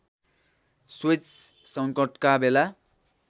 Suez सङ्कटका बेला